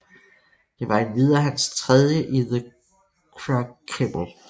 Det var endvidere hans tredje i the Crucible